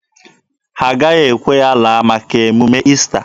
A gaghị ekwe ya laa maka emume Ista.